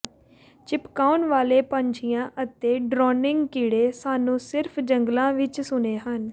ਚਿਪਕਾਉਣ ਵਾਲੇ ਪੰਛੀਆਂ ਅਤੇ ਡ੍ਰੌਨਿੰਗ ਕੀੜੇ ਸਾਨੂੰ ਸਿਰਫ ਜੰਗਲਾਂ ਵਿਚ ਸੁਣੇ ਹਨ